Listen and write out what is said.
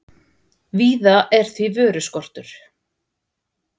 Víða er því vöruskortur